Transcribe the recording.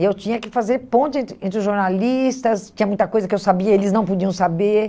Eu tinha que fazer ponte entre entre os jornalistas, tinha muita coisa que eu sabia e eles não podiam saber.